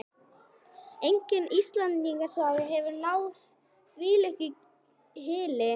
Engin Íslendingasaga hefur náð þvílíkri hylli.